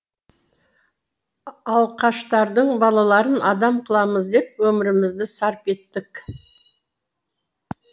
алқаштардың балаларын адам қыламыз деп өмірімізді сарп еттік